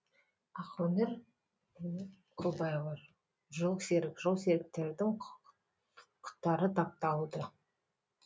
ақөнер құлбаева жолсерік жолсеріктердің құқытары тапталды